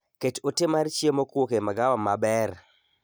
Ket ote mar chiemo kowuok emagawa maber